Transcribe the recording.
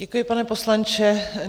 Děkuji, pane poslanče.